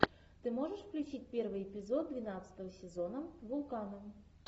ты можешь включить первый эпизод двенадцатого сезона вулкана